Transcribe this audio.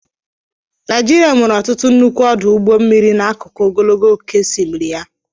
Naijiria nwere ọtụtụ nnukwu ọdụ ụgbọ mmiri n'akụkụ ogologo oke osimiri ya.